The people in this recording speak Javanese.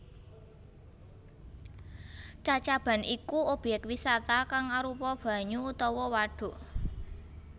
Cacaban iku obyek wisata kang arupa banyu utawa wadhuk